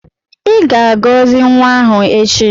I ga-agọzi nwa ahụ echi.